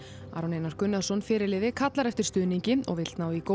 Aron Einar Gunnarsson fyrirliði kallar eftir stuðningi og vill ná í góð